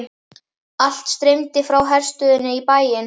Allt streymdi frá herstöðinni í bæinn.